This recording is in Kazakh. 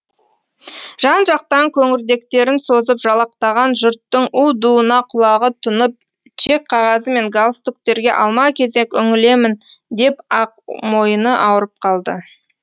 жан жақтан көңірдектерін созып жалақтаған жұрттың у дуына құлағы түнып чек қағазы мен галстуктерге алма кезек үңілемін деп ақ мойыны ауырып қалды